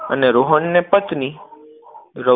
અને રોહનને પત્ની